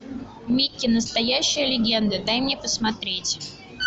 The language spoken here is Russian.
микки настоящая легенда дай мне посмотреть